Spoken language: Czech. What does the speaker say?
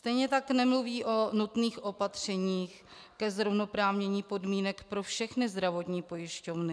Stejně tak nemluví o nutných opatřeních ke zrovnoprávnění podmínek pro všechny zdravotní pojišťovny.